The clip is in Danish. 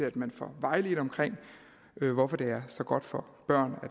at man får vejledt om hvorfor det er så godt for børn